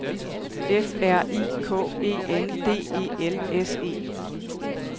F R I K E N D E L S E